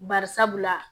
Bari sabula